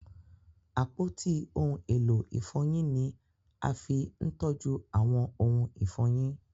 Apoti ohun elo ifọyin ni a fi ńtọju awọn ohun ifọyin.